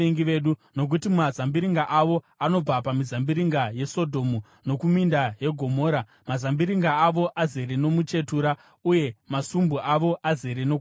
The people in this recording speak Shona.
Nokuti mazambiringa avo anobva pamizambiringa yeSodhomu nokuminda yeGomora. Mazambiringa avo azere nomuchetura, uye masumbu avo azere nokuvava.